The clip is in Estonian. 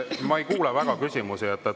Ma ei kuule väga küsimusi.